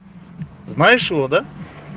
знаешь его да